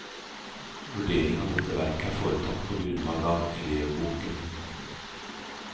Vurderingen av dette verket er foretatt på grunnlag av elevboken.